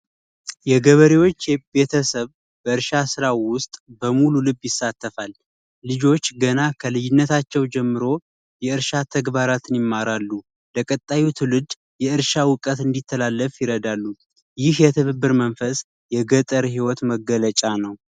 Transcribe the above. የገበሬዎች ቤተሰብ እርሻ ስራ ውስጥ በሙሉ ልብ ይሳተፋል ልጆች ገና ከልጅነታቸው ጀምሮ የእርሻ ተግባራትን ይማራሉ ለቀጣይ ትውልድ የእርሻ ዕውቀት እንዲተላለፍ ይረዳሉ ይህ የተብብር መንፈስ የገጠር ህይወት መገለጫ ነው።